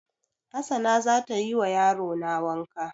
Hassana za tayi wa yarona wanka